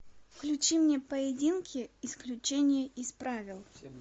включи мне поединки исключение из правил